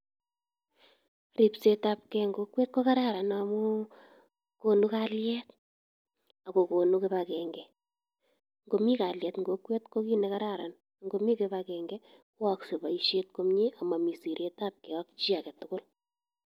Ripsetabge en kokwet ko kararan amu konu kalyet ak kogonu kibagenge. Ngomi kalyet en kokwet ko kit nekararan, ngomi kibagenge koyookse boisiet komye amami siretage ak chi age tugul.